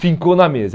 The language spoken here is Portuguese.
Ficou na mesa.